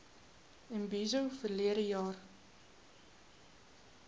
imbizo verlede jaar